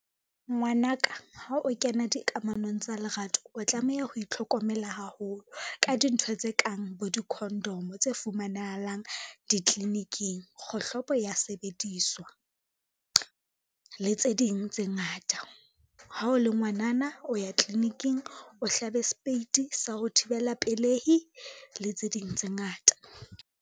Ngwanaka ha o kena dikamanong tsa lerato, o tlameha ho itlhokomela haholo ka dintho tse kang bo di-condom tse fumanahalang ditliliniking, kgohlopo ya sebediswa le tse ding tse ngata. Ha o le ngwanana o ya tliliniking o hlabe speiti sa ho thibela pelehi le tse ding tse ngata.